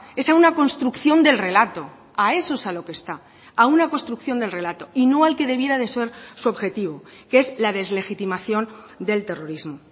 es a una construcción del relato a eso es a lo que está a una construcción del relato y no al que debiera de ser su objetivo que es la deslegitimación del terrorismo